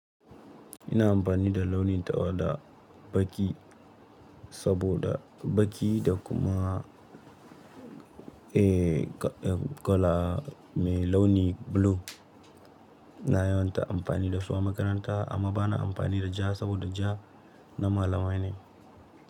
Ina amfani da launin tawada, baƙi saboda baƙi da kuma, eh, eh, kala mai launi blue. Na yawan ta amfani da su a makaranta amma ba na amfani da ja saboda ja na malamai ne.